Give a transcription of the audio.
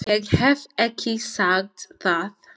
Ég hef ekki sagt það!